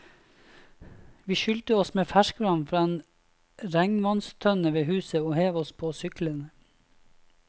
Vi skylte oss med ferskvann fra en regnvannstønne ved huset og hev oss på syklene.